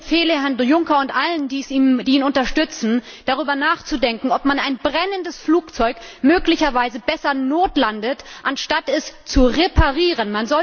Ich empfehle Herrn Juncker und allen, die ihn unterstützen, darüber nachzudenken, ob man ein brennendes Flugzeug möglicherweise besser notlandet, anstatt es zu reparieren.